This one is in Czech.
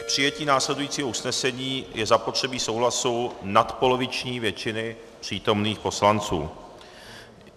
K přijetí následujícího usnesení je zapotřebí souhlasu nadpoloviční většiny přítomných poslanců.